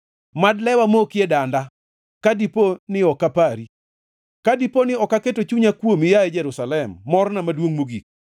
Mad lewa moki e danda ka dipo ni ok apari, ka dipo ni ok aketo chunya kuomi, yaye Jerusalem, morna maduongʼ mogik.